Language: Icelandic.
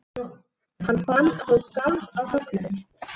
Hann fann að hann skalf af fögnuði.